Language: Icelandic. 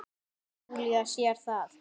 Júlía sér það.